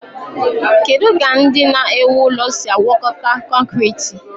Kedu ka ndị na-ewu ụlọ si agwakọta kọnkriit?